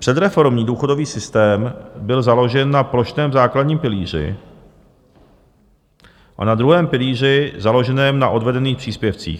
Předreformní důchodový systém byl založen na plošném základním pilíři a na druhém pilíři založeném na odvedených příspěvcích.